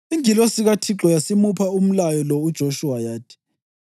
Ingilosi kaThixo yasimupha umlayo lo uJoshuwa, yathi: